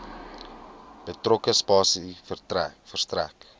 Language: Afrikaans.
betrokke spasie verstrek